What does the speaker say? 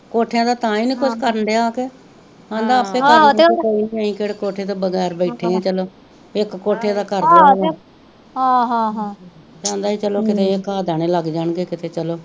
ਕੋਠੇਆ ਦਾ ਤਾਹੀ ਨੀ ਕੁਜ ਕਰਨ ਡੇਆ ਕੇਹ ਕਹਿੰਦਾ ਆਪੇ ਅਸੀਂ ਕੇਹੜਾ ਕੋਠੇ ਤੋਂ ਬਗੈਰ ਬੈਠੇ ਆ ਚੱਲੋ ਇਕ ਕੋਠੇ ਦਾ ਕਹਿੰਦਾ ਸੀ ਕਿਤੇ ਚੱਲੋ ਕਾਅ ਦਾਣੇ ਲਗ ਜਾਣ ਗੇ ਕੀਤੇ ਚੱਲੋ